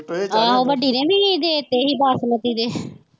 ਆਹੋ ਵੱਡੀ ਨੇ ਨੀ ਹੀ ਦੇ ਤੇ ਹੀ ਬਾਸਮਤੀ ਦੇ।